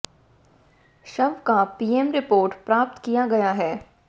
शव का PM report प्राप्त किया गया है